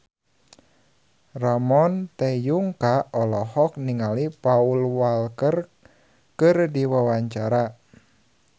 Ramon T. Yungka olohok ningali Paul Walker keur diwawancara